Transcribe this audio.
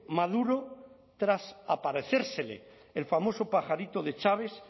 maduro tras aparecérsele el famoso pajarito de chávez